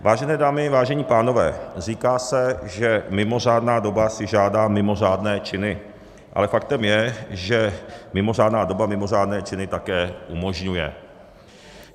Vážené dámy, vážení pánové, říká se, že mimořádná doba si žádá mimořádné činy, ale faktem je, že mimořádná doba mimořádné činy také umožňuje.